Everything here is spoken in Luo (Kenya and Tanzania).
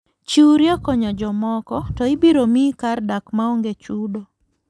Chiwri e konyo jomoko to ibiro miyi kar dak maonge chudo.